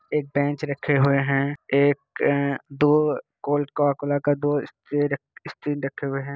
एक बेंच रखे हुए हैं एक आ दो कोल्ड कोकोला का दो स्ट्रेन स्ट्रिंग रखे हुए हैं।